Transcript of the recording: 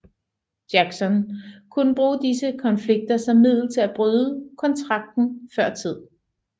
Jackson kunne bruge disse konflikter som middel til at bryde kontrakten før tid